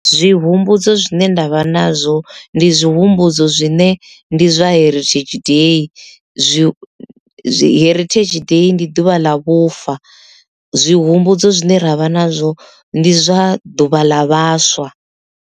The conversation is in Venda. Zwi humbudzo zwine ndavha nazwo ndi zwi humbudzo zwine ndi zwa heritage day zwi heritage day ndi ḓuvha ḽa vhufa zwi humbudzo zwine ravha nazwo ndi zwa ḓuvha ḽa vhaswa.